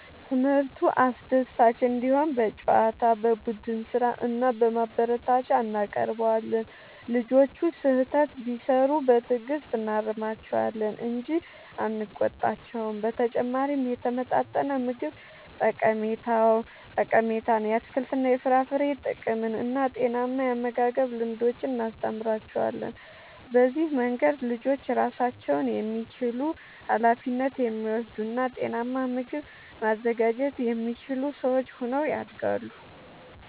ትምህርቱ አስደሳች እንዲሆን በጨዋታ፣ በቡድን ሥራ እና በማበረታቻ እናቀርበዋለን። ልጆቹ ስህተት ቢሠሩ በትዕግሥት እናርማቸዋለን እንጂ አንቆጣቸውም። በተጨማሪም የተመጣጠነ ምግብ ጠቀሜታን፣ የአትክልትና የፍራፍሬ ጥቅምን እና ጤናማ የአመጋገብ ልምዶችን እናስተምራቸዋለን። በዚህ መንገድ ልጆች ራሳቸውን የሚችሉ፣ ኃላፊነት የሚወስዱ እና ጤናማ ምግብ ማዘጋጀት የሚችሉ ሰዎች ሆነው ያድጋሉ።